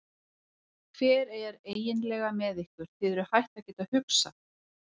Hvernig er eiginlega með ykkur, eruð þið hætt að geta hugsað?